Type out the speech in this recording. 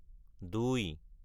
দুই